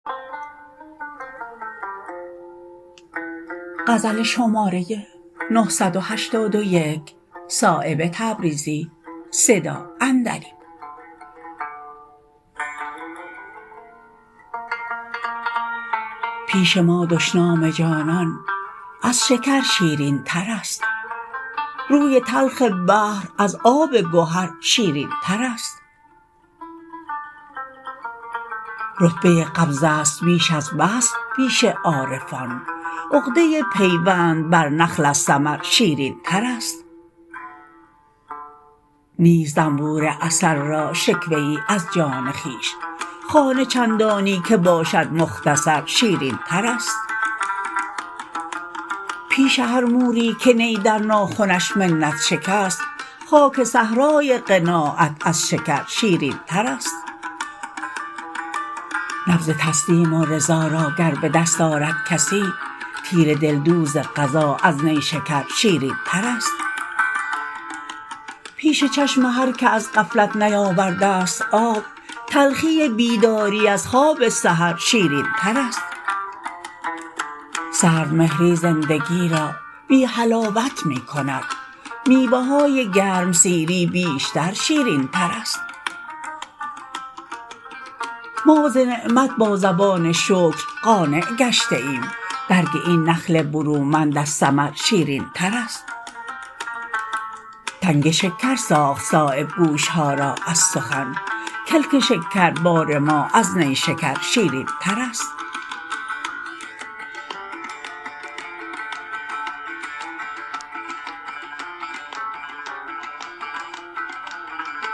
پیش ما دشنام جانان از شکر شیرین ترست روی تلخ بحر از آب گهر شیرین ترست رتبه قبض است بیش از بسط پیش عارفان عقده پیوند بر نخل از ثمر شیرین ترست نیست زنبور عسل را شکوه ای از جان خویش خانه چندانی که باشد مختصر شیرین ترست پیش هر موری که نی در ناخنش منت شکست خاک صحرای قناعت از شکر شیرین ترست نبض تسلیم و رضا را گر به دست آرد کسی تیر دلدوز قضا از نیشکر شیرین ترست پش چشم هر که از غفلت نیاورده است آب تلخی بیداری از خواب سحر شیرین ترست سرد مهری زندگی را بی حلاوت می کند میوه های گرمسیری بیشتر شیرین ترست ما ز نعمت با زبان شکر قانع گشته ایم برگ این نخل برومند از ثمر شیرین ترست تنگ شکر ساخت صایب گوش ها را از سخن کلک شکر بار ما از نیشکر شیرین ترست